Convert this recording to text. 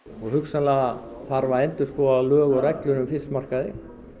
hugsanlega þarf að endurskoða lög og reglur um fiskmarkaði